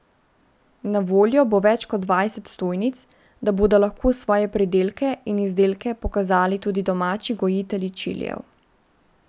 Na voljo bo več kot dvajset stojnic, da bodo lahko svoje pridelke in izdelke pokazali tudi domači gojitelji čilijev.